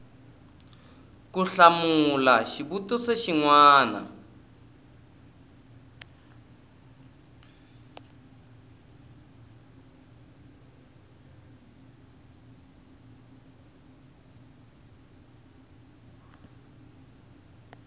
ku hlamula xivutiso xin wana